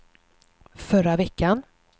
förra veckan